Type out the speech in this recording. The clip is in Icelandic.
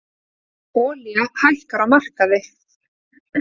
Olía hækkar á markaði